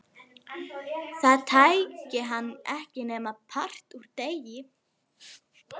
Það tæki hann ekki nema part úr degi.